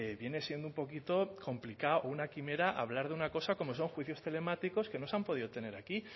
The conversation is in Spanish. viene siendo un poquito complicado una quimera hablar de una cosa como son juicios telemáticos que no se han podido tener aquí